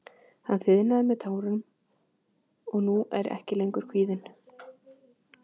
Hann þiðnaði með tárum og nú er ég ekki lengur kvíðinn.